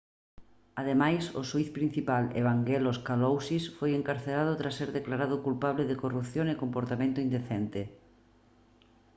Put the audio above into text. ademais o xuíz principal evangelos kalousis foi encarcerado tras ser declarado culpable de corrupción e comportamento indecente